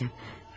Söyləyəcəm.